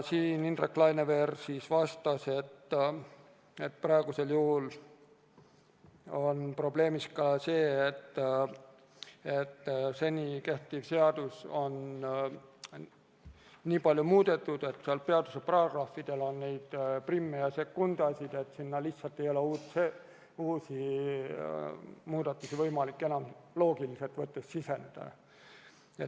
Indrek Laineveer vastas, et praegu on probleem ka see, et kehtivat seadust on nii palju muudetud, et seaduse paragrahvidel on neid priime ja sekundasid, et sinna lihtsalt ei ole uusi muudatusi võimalik enam loogiliselt võttes sisestada.